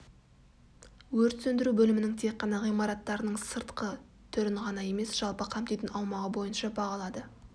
өрт сөндіру бөлімнің тек қана ғимараттарының сыртқы түрін ғана емес жалпы қамтитын аумағы бойынша бағалады